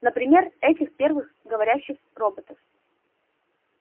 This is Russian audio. например этих первых говорящих роботов